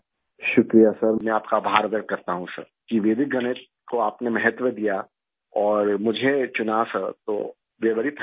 شکریہ سر! میں آپ کا شکریہ ادا کرتا ہوں سر کہ ویدک میتھ کو آپ نے اہمیت دی اور مجھے منتخب کیا سر! تو وی آرے ویری thankful